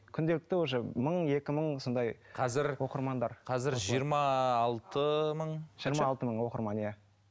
күнделікті уже мың екі мың сондай қазір жиырма алты мың жиырма алты мың оқырман иә